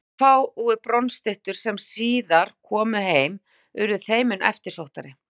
Þær fáu bronsstyttur sem síðar komu heim urðu þeim mun eftirsóttari.